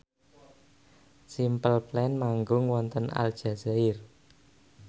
Simple Plan manggung wonten Aljazair